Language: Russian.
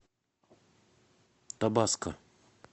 табаско